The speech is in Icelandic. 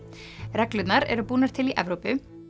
reglurnar eru búnar til í Evrópu